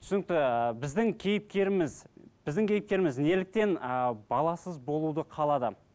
түсінікті ііі біздің кейіпкеріміз біздің кейіпкеріміз неліктен ыыы баласыз болуды қалады